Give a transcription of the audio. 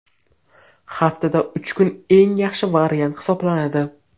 Haftada uch kun eng yaxshi variant hisoblanadi.